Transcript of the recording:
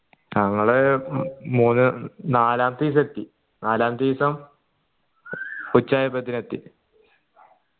ഞങ്ങള് മൂന്ന് നാലാമത്തെ ദിവസമെത്തി നാലാമത്തീസം ഉച്ച ആയപ്പത്തിന് എത്തി